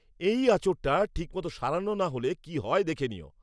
এই আঁচড়টা ঠিক মতো সারানো না হলে কি হয় দেখে নিও।